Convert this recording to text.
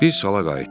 Biz sala qayıtdıq.